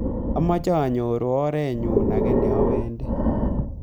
amache anyoru orenyu age nawendi